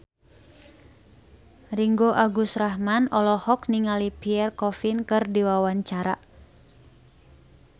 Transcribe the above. Ringgo Agus Rahman olohok ningali Pierre Coffin keur diwawancara